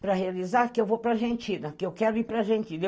Para realizar que eu vou para a Argentina, que eu quero ir para a Argentina.